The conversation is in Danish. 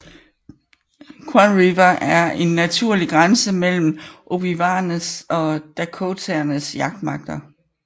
Croix River en naturlig grænse mellem ojibwaernes og dakotaernes jagtmarker